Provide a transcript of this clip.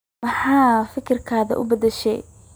Maxa fikirkadha ubadashe.